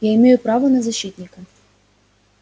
я имею право на защитника